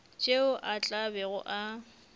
tšeo a tla bego a